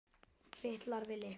Fitlar við lykla.